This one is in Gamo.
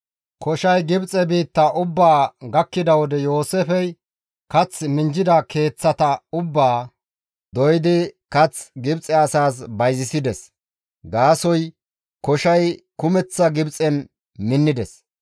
Koshay Gibxe biittaa ubbaa gakkida wode Yooseefey kath minjjida keeththata ubbaa doydi kath Gibxe asaas bayzisides; gaasoykka koshay kumeththa Gibxen minnides.